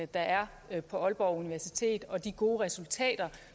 der er er på aalborg universitet og de gode resultater